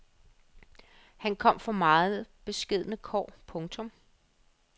Han kom fra meget beskedne kår. punktum